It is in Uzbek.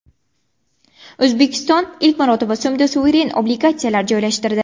O‘zbekiston ilk marotaba so‘mda suveren obligatsiyalar joylashtirdi.